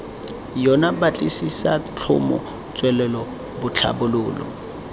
yona batlisisa tlhomo tswelelo tlhabololo